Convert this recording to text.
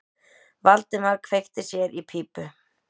Valdimar kveikti sér í pípu.